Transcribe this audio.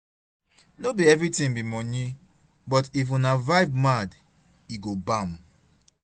no bi everitin bi moni but if una vibe mad, e go bam